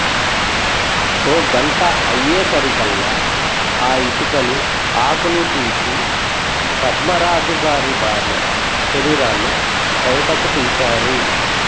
ఓ గంట అయ్యే సరికల్లా ఆ ఇటుకలు ఆకులు తీసి పద్మ రాజు గారి భార్య శరీరాన్ని బయటకు తీసారు